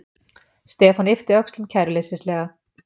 Stefán yppti öxlum kæruleysislega.